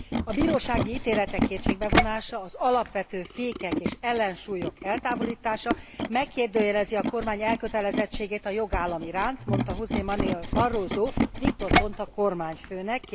A bírósági ítéletek kétségbe vonása, az alapvető fékek és ellensúlyok eltávolítása megkérdőjelezi a kormány elkötelezettségét a jogállam iránt mondta José Manuel Barroso Victor Ponta kormányfőnek